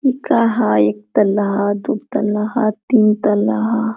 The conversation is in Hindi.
इ काहा ह एक तल्ला ह दू तल्ला ह तीन तल्ला ह।